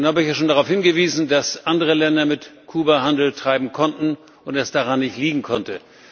Nun habe ich ja schon darauf hingewiesen, dass andere Länder mit Kuba Handel treiben konnten und es daran nicht liegen konnte.